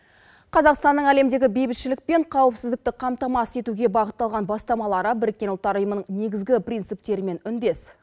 қазақстанның әлемдегі бейбітшілік пен қауіпсіздікті қамтамасыз етуге бағытталған бастамалары біріккен ұлттар ұйымының негізгі принциптерімен үндес